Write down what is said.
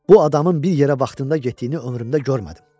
Bu adamın bir yerə vaxtında getdiyini ömrümdə görmədim.